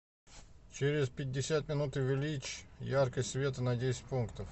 через пятьдесят минут увеличь яркость света на десять пунктов